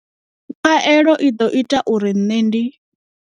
Khaelo i ḓo ita uri nṋe ndi.